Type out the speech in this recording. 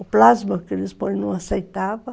O plasma que eles põem não aceitava.